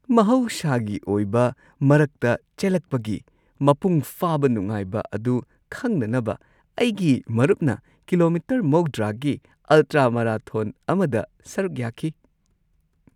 ꯃꯍꯧꯁꯥꯒꯤ ꯑꯣꯏꯕ ꯃꯔꯛꯇ ꯆꯦꯜꯂꯛꯄꯒꯤ ꯃꯄꯨꯡ ꯐꯥꯕ ꯅꯨꯡꯉꯥꯏꯕ ꯑꯗꯨ ꯈꯪꯅꯅꯕ ꯑꯩꯒꯤ ꯃꯔꯨꯞꯅ ꯀꯤꯂꯣꯃꯤꯇꯔ ꯹꯰ꯒꯤ ꯑꯜꯇ꯭ꯔꯥ-ꯃꯥꯔꯥꯊꯣꯟ ꯑꯃꯗ ꯁꯔꯨꯛ ꯌꯥꯈꯤ ꯫